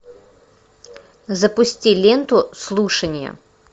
запусти ленту слушания